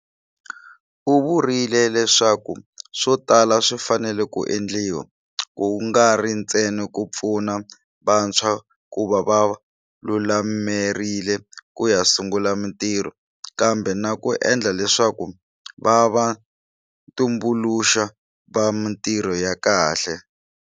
U vurile leswaku swo tala swi fanele ku endliwa, ku nga ri ntsena ku pfuna vantshwa ku va va lu lamerile ku ya sungula mitirho, kambe na ku endla leswaku va va tumbuluxi va mitirho ya kahle.